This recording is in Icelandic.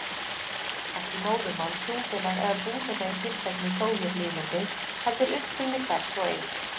Ekki móðurmál, trúfélag eða búseta í tilteknu Sovétlýðveldi, heldur uppruni hvers og eins.